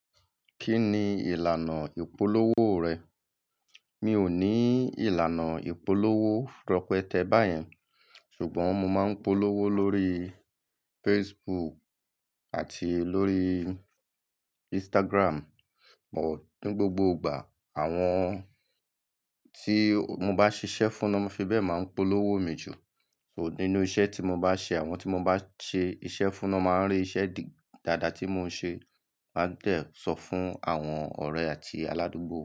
Kí ni ìlànà ìpolówó rẹ̀? Mi ò ní ìlànà ìpolówó rọ́pete báyẹn, ṣùgbọ́n mo máa ń polówó lórí Facebook àti lórí Instagram, but ní gbogbo ìgbà. Àwọn tí mo bá ṣiṣẹ́ fún ló fi bẹ́ẹ̀ máa ń polówó mi jù. So nínú iṣẹ́ tí mo bá ṣe, àwọn tí mo bá ṣe iṣẹ́ fún ló máa ń rí iṣẹ́ dáadáa tí mo ṣe won a dẹ̀ sọ fún àwọn ọ̀rẹ́ àti aládùúgbò.